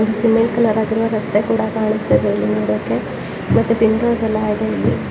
ಒಂದು cement colour ಹಾಕಿರುವ ಒಂದು ರಸ್ತೆ ಕೂಡ ಕಾಣಿತ್ತ ಇದೆ ಇಲ್ಲಿ ನೋಡೋಕೆ ಮತ್ತೆ ಎಲ್ಲಾ ಇದೆ ಇಲ್ಲಿ.